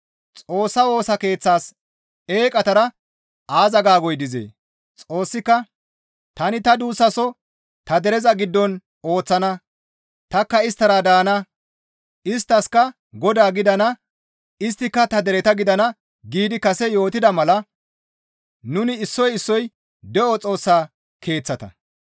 Xoossa Woosa Keeththas eeqatara aaza gaagoy dizee? Xoossika, «Tani ta duussaso ta dereza giddon ooththana; tanikka isttara daana; isttaskka Godaa gidana; isttika ta dereta gidana» giidi kase yootida mala nuni issoy issoy de7o Xoossa Keeththata.